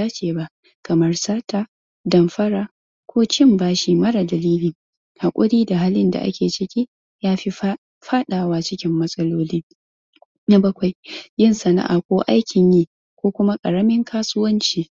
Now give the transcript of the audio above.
aiki kamar kalanda na waya diary ko littafi littafin jadawali apps kamar google kalanda na shida sake duba jadawali kowan ne lokaci ka duba aikin da ka tsara yana tafiya daidai to idan akwai kwara ka kwara na bakwai kula da lokacin hutawa yin aiki abu hutu na iya rage kuzari ka tabbatar ka na da lokacin hutawa, ko cin abinci, dan samun kuzari